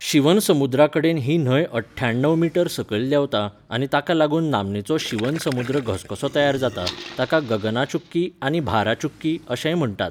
शिवनसमुद्राकडेन ही न्हंय अट्ठ्याणव मीटर सकयल देंवता आनी ताका लागून नामनेचो शिवनसमुद्र घसघसो तयार जाता, ताका गगना चुक्की आनी भारा चुक्की अशेंय म्हणटात.